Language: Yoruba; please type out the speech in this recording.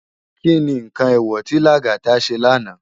Ki ni nkán éwò ti Lagata sé lànå?